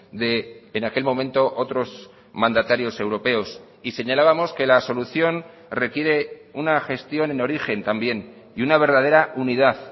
de en aquel momento otros mandatarios europeos y señalábamos que la solución requiere una gestión en origen también y una verdadera unidad